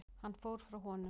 Hann fór frá honum.